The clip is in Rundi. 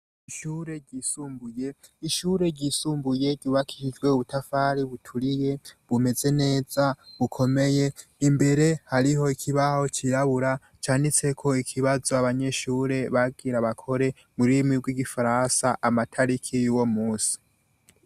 Ishure ryisumbuye, ishure ryisumbuye ryubakiye hepfo y’ubutafari buturiye bumeze neza bukomeye, imbere hariho ikibaho c’irabura canditseko ikibazo abanyeshure bagira bakore mu rurimi rw’igifaransa amatariki yuwo munsi.